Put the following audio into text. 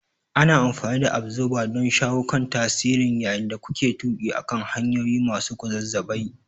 Ana amfani da Absorber don shawo kan tasirin yayin da kuke tuƙi akan hanyoyi masu kwazazzabai.